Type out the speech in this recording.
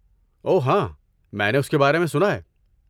اوہ، ہاں، میں نے اس کے بارے میں سنا ہے۔